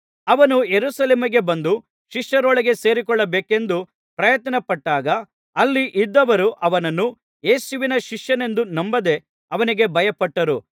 ಅವನು ಯೆರೂಸಲೇಮಿಗೆ ಬಂದು ಶಿಷ್ಯರೊಳಗೆ ಸೇರಿಕೊಳ್ಳಬೇಕೆಂದು ಪ್ರಯತ್ನಪಟ್ಟಾಗ ಅಲ್ಲಿ ಇದ್ದವರು ಅವನನ್ನು ಯೇಸುವಿನ ಶಿಷ್ಯನೆಂದು ನಂಬದೆ ಅವನಿಗೆ ಭಯಪಟ್ಟರು